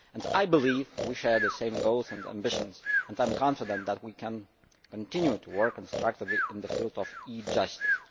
I believe we share the same goals and ambitions, and I am confident that we can continue to work constructively in the field of e Justice.